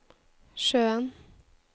sjøen